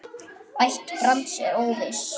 Ætt Brands er óviss.